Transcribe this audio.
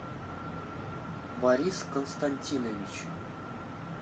борис константинович